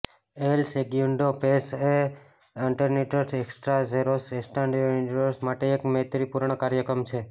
L સેગ્યુન્ડો પૅસો એ ટર્નીસ્ટસ એક્સ્ટ્રાઝેરોસ એસ્ટાડોસ યુનિડોસ માટે એક મૈત્રીપૂર્ણ કાર્યક્રમ છે